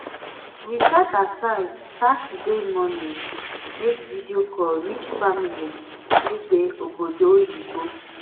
we set aside saturday morning make video call reach family wey dey obodo oyibo